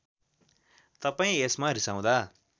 तपाईँ यसमा रिसाउँदा